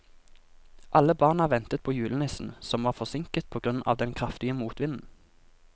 Alle barna ventet på julenissen, som var forsinket på grunn av den kraftige motvinden.